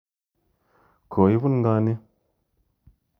Ko ipun ng'o ni?